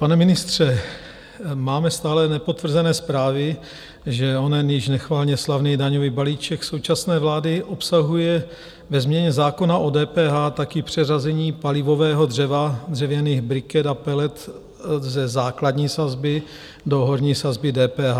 Pane ministře, máme stále nepotvrzené zprávy, že onen již nechvalně slavný daňový balíček současné vlády obsahuje ve změně zákona o DPH taky přeřazení palivového dřeva, dřevěných briket a pelet ze základní sazby do horní sazby DPH.